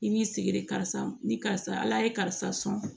I b'i sigi de karisa ni karisa ala ye karisa sɔn